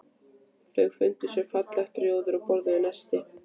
Þau fundu sér fallegt rjóður og borðuðu nestið.